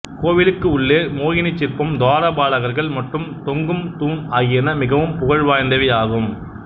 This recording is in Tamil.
கோவிலுக்கு உள்ளே உள்ள மோகினி சிற்பம் துவார பாலகர்கள் மற்றும் தொங்கும் தூண் ஆகியன மிகவும் புகழ் வாய்ந்தவை ஆகும்